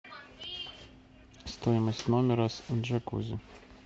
стоимость номера с джакузи